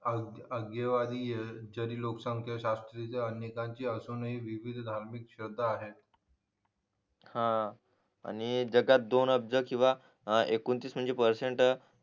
आग आग्य आग्यवादीय ज्यांनी लोक संख्या शाश्ट्रीय अन्यकांची असून हि विविध धार्मिक श्रद्धा आहे हा आणि जगात दोन अब्ज किंवा एकुणतीस परसेन्ट